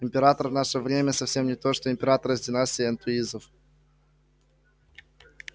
император в наше время совсем не то что император из династии энтуизов